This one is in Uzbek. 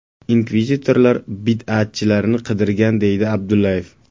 Inkvizitorlar bid’atchilarni qidirgan”, deydi Abdullayev.